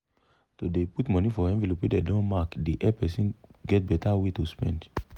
to dey put put money for envelope wey dem don mark dey help make person get better way to spend.